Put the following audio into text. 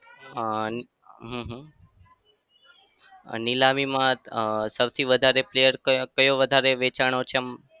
હા હમ હમ નીલામીમાં અમ સૌથી વધારે player કયો કયો વધારે વેચાણો છે આમ?